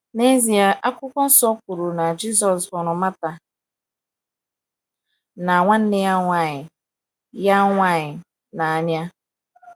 N’ezie, akwụkwo nsọ kwuru na “ Jisọs hụrụ Martha, na nwanne ya nwanyị ya nwanyị,... n’anya. ”